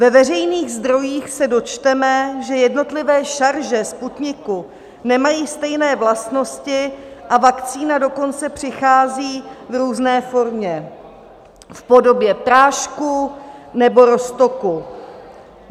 Ve veřejných zdrojích se dočteme, že jednotlivé šarže Sputniku nemají stejné vlastnosti, a vakcína dokonce přichází v různé formě - v podobě prášku nebo roztoku.